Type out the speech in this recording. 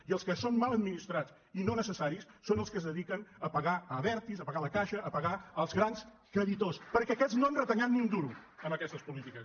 i els que són mal administrats i no necessaris són els que es dediquen a pagar a abertis a pagar a la caixa a pagar als grans creditors perquè aquests no han retallat ni un duro amb aquestes polítiques